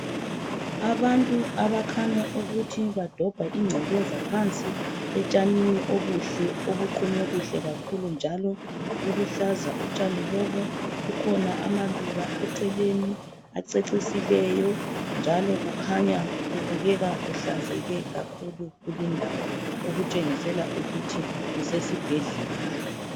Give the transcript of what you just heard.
Abantu abakhanya ukuthi badobha ingcekeza phansi etshanini obuhle obuqunywe kuhle kakhulu njalo buluhlaza utshani lobu kukhona amaluba eceleni acecisileyo njalo kukhanya kubukeka Kuhlanzeke kakhulu kuli ndawo okutshengisela ukuthi kusesibhedlela